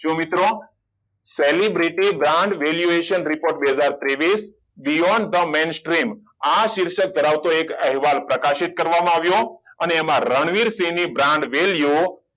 જો મિત્રો celebrity brand valuation બે હાજર ત્રેવીસ beyond the mainstream આ શીર્ષક ધરાવતો એક અહેવાલ પ્રકાશિત કરવામાં આવ્યો અને એમાં રણવીરસિંહ ની brand value